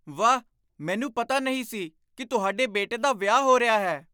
ਵਾਹ! ਮੈਨੂੰ ਪਤਾ ਨਹੀਂ ਸੀ ਕਿ ਤੁਹਾਡੇ ਬੇਟੇ ਦਾ ਵਿਆਹ ਹੋ ਰਿਹਾ ਹੈ!